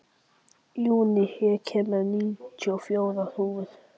Júní, ég kom með níutíu og fjórar húfur!